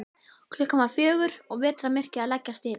Klukkan var um fjögur og vetrarmyrkrið að leggjast yfir.